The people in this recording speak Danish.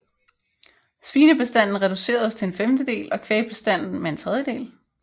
Svinebestanden reduceredes til en femtedel og kvægbestanden med en tredjedel